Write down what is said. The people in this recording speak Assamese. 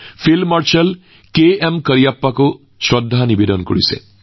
আজি ফিল্ড মাৰ্শ্বাল কেএম কৰিয়াপ্পা জীকো শ্ৰদ্ধাৰে শ্ৰদ্ধাঞ্জলি জনোৱাৰ দিন